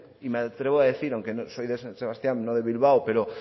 y me atrevo a decir aunque soy de san sebastián no de bilbao pero